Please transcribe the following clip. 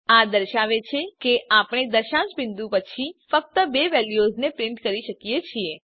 આ દર્શાવે છે કે આપણે દશાંશ બીંદુ પછી ફક્ત બે વેલ્યુઓને જ પ્રીંટ કરી શકીએ છીએ